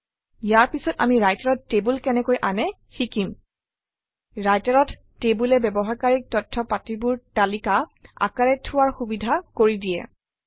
ইয়াৰ পিছত আমি Writer অত টেবুল কেনেকৈ আনে শিকিম Writer অত টেবুলে ব্যৱহাৰকাৰীক তথ্যপাতিবোৰ তালিকা আকাৰে থোৱাৰ সুবিধা কৰি দিয়ে